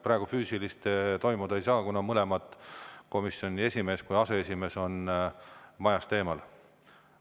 Praegu füüsilist toimuda ei saa, kuna mõlemad, nii komisjoni esimees kui ka aseesimees, on majast väljas.